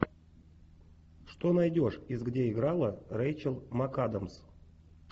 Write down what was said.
что найдешь из где играла рейчел макадамс